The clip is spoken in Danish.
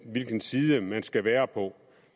hvilken side man skal være på